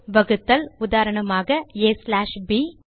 வகுத்தல் உதாரணமாக aப்